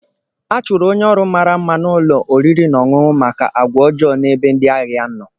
A chụrụ onye ọrụ mara mma na ụlọ oriri na ọṅụṅụ maka àgwà ọjọọ n'ebe ndị ahịa nọ